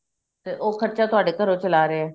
ਤੇ ਉਹ ਖਰਚਾ ਤੁਹਾਡੇ ਘਰੋਂ ਚਲਾ ਰਿਹਾ